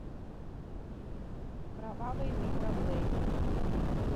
кровавый микроблейдинг